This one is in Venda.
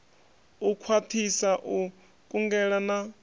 u khwathisa u kungela na